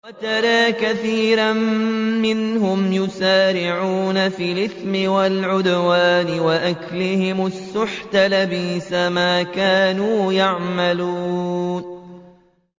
وَتَرَىٰ كَثِيرًا مِّنْهُمْ يُسَارِعُونَ فِي الْإِثْمِ وَالْعُدْوَانِ وَأَكْلِهِمُ السُّحْتَ ۚ لَبِئْسَ مَا كَانُوا يَعْمَلُونَ